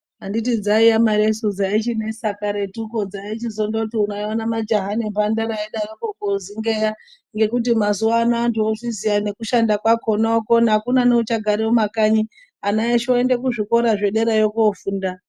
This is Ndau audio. Anditi dzaiya maresu dzaichinesa karetuko dzaichizondoti mwaiona majaha nemphandara eidaroko koozengeya, ngekuti mazuwano antu ozviziya nekushanda kwakona okona akuna neuchagara mumakanyi, ana eshe oende kuzvikora zvederayo koofunda.